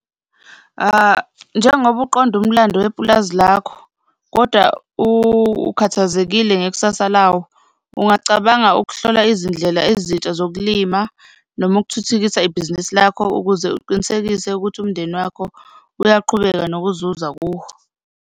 Njengoba uqonda umlando wepulazi lakho kodwa ukhathazekile ngekusasa lawo, ungacabanga ukuhlola izindlela ezintsha zokulima noma ukuthuthukisa ibhizinisi lakho ukuze uqinisekise ukuthi umndeni wakho uyaqhubeka nokuzuza kuwo.